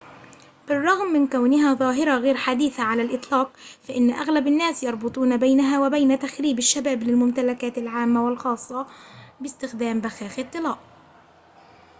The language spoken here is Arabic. بالرغم من كونها ظاهرة غير حديثة على الإطلاق فإن أغلب الناس يربطون بينها وبين تخريب الشباب للممتلكات العامة والخاصة باستخدام بخاخ الطلاء